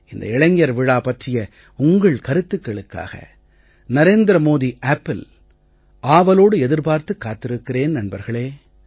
இந்த இளைஞர் விழா பற்றிய உங்கள் கருத்துக்களுக்காக நரேந்திர மோடி appல் ஆவலோடு எதிர்பார்த்துக் காத்திருக்கிறேன் நண்பர்களே